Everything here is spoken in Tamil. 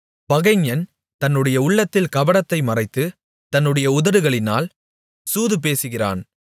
பகைஞன் தன்னுடைய உள்ளத்தில் கபடத்தை மறைத்து தன்னுடைய உதடுகளினால் சூதுபேசுகிறான்